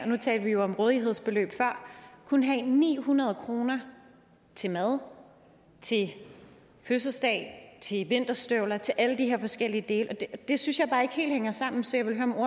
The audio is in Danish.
nu talte vi jo om rådighedsbeløb før kun have ni hundrede kroner til mad til fødselsdag til vinterstøvler til alle de her forskellige dele og det synes jeg bare ikke helt hænger sammen så